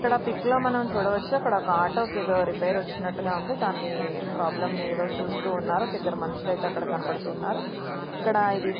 ఇక్కడ పిక్ లో మనం చూడవచ్చు అక్కడ ఒక ఆటో ఏదో రిపేర్ వచ్చినట్టుగా ఉంది. దాన్ని ప్రాబ్లం ఏదో చూస్తూ ఉన్నారు. ఒక ఇద్దరు మనుషులు అయితే అక్కడ కనబడుతున్నారు. ఇక్కడ ఇది --